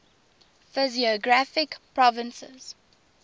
physiographic provinces